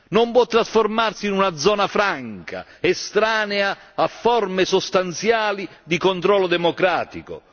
Non può trasformarsi in una zona franca, estranea a forme sostanziali di controllo democratico.